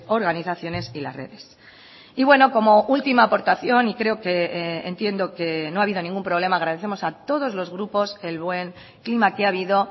organizaciones y las redes y bueno como última aportación y creo que entiendo que no ha habido ningún problema agradecemos a todos los grupos el buen clima que ha habido